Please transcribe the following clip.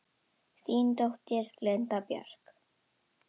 Þín dóttir, Linda Björk.